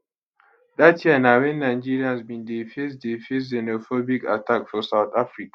dat year na wen nigerians bin dey face dey face xenophobic attack for south africa